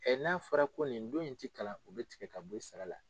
n'a fɔra ko nin don in ti kalan o bɛ tigɛ ka bɔ i sara la.